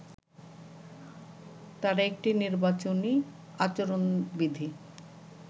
তারা একটি নির্বাচনী আচরণবিধি